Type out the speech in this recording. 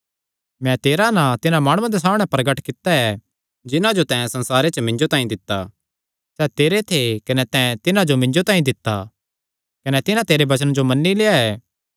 मैं तेरा नां तिन्हां माणुआं दे सामणै प्रगट कित्ता ऐ जिन्हां जो तैं संसारे च मिन्जो तांई दित्ता सैह़ तेरे थे कने तैं तिन्हां जो मिन्जो तांई दित्ता कने तिन्हां तेरे वचने जो मन्नी लेआ ऐ